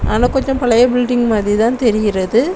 ஆனா கொஞ்சொ பழைய பிட்டிங் மாதிரிதா தெரிகிறது.